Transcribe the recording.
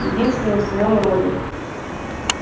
единственный в своём роде